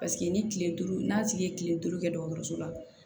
Paseke ni kile duuru n'a tigi ye kile duuru kɛ dɔgɔtɔrɔso la